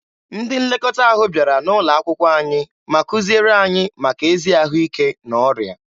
Ndị nlekọta ahụ bịara N'ụlọakwụkwọ anyị ma kuziere anyị maka ezi ahụike na ọrịa.